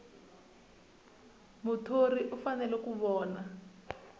muthori u fanele ku vona